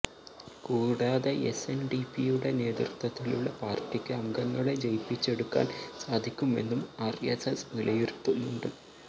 കൂടാതെ എസ്എന്ഡിപിയുടെ നേതൃത്തിലുള്ള പാര്ട്ടിക്ക് അംഗങ്ങളെ ജയിപ്പിച്ചെടുക്കാന് സാധിക്കുമെന്നും ആര്എസ്എസ് വിലയിരുത്തുന്നുണ്ട്